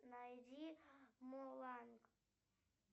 найди мулан